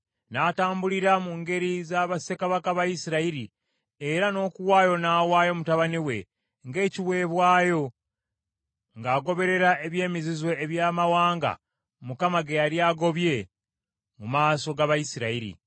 N’atambulira mu ngeri za bassekabaka ba Isirayiri, era n’okuwaayo n’awaayo mutabani we ng’ekiweebwayo, ng’agoberera eby’emizizo eby’amawanga Mukama ge yali agobye mu maaso g’Abayisirayiri.